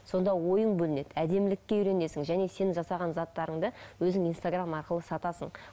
сонда ойың бөлінеді әдемілікке үйренесің және сен жасаған заттарыңды өзің инстаграм арқылы сатасың